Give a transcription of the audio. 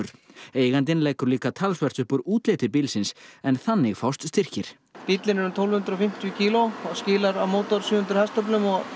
eigandinn leggur líka talsvert upp úr útliti bílsins en þannig fást styrkir bíllinn er tólf hundruð og fimmtíu kíló og skilar af mótor sjö hundruð hestöflum og